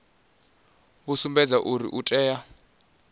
vhu sumbedzaho uri o tea